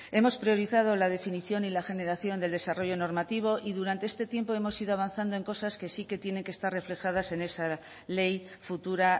hemos priorizado la definición y la generación del desarrollo normativo y durante este tiempo hemos ido avanzando en cosas que sí que tienen que estar reflejadas en esa ley futura